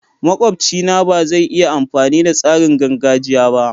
Makwabci na ba zai iya amfani da tsarin gargajiya ba.